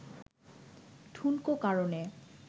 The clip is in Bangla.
ঠুনকো কারণে